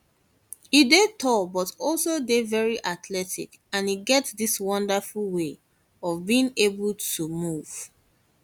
e dey tall but e also dey very athletic and e get dis wonderful way of being able to able to move